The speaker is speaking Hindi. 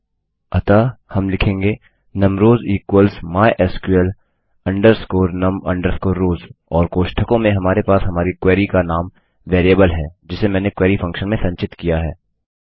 अतः हम लिखेंगे num rows equals mysql num rows और कोष्ठकों में हमारे पास हमारी क्वेरी का नाम वेरिएबल है जिसे मैंने क्वेरी फंक्शन में संचित किया है